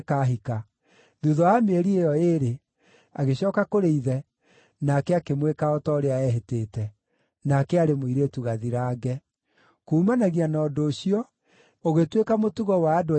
Thuutha wa mĩeri ĩyo ĩĩrĩ, agĩcooka kũrĩ ithe, nake akĩmwĩka o ta ũrĩa eehĩtĩte. Nake aarĩ mũirĩtu gathirange. Kuumanagia na ũndũ ũcio, ũgĩtuĩka mũtugo wa andũ a Isiraeli,